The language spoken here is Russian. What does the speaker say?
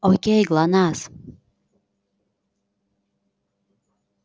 окей глонассс